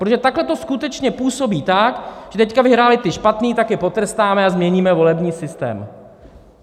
Protože takhle to skutečně působí tak, že teď vyhráli ti špatní, tak je potrestáme a změníme volební systém.